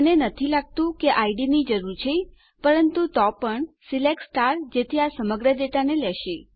મને નથી લાગતું કે આપણને ઇડ ની જરૂર છે પરંતુ તો પણ સિલેક્ટ જેથી આ સમગ્ર ડેટાને લેશે